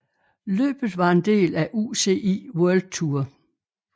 Løbet var en del af UCI World Tour